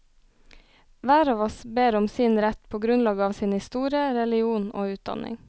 Hver av oss ber om sin rett på grunnlag av sin historie, religion og utdanning.